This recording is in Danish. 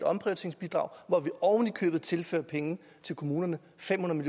omprioriteringsbidrag hvor vi ovenikøbet tilfører penge til kommunerne fem hundrede